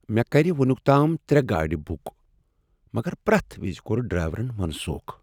مےٚ کر وٕنیک تام ترٛےٚ گاڑ بک، مگر پرٮ۪تھ وز کوٚر ڈرایورن منسوٗخ۔